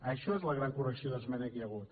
això és la gran correcció d’esmena que hi ha hagut